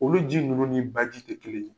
Olu ji ninnu ni baji tɛ kelen ye.